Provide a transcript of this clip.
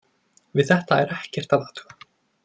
Við þetta er ekkert að athuga.